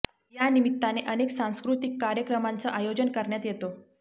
या निमित्ताने अनेक सांस्कृतीक कार्यक्रमांचं आयोजन करण्यात येतं